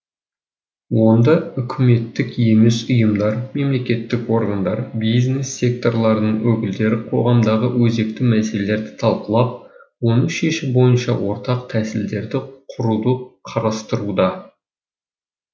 онда үкіметтік емес ұйымдар мемлекеттік органдар бизнес секторларының өкілдері қоғамдағы өзекті мәселелерді талқылап оны шешу бойынша ортақ тәсілдерді құруды қарастыруда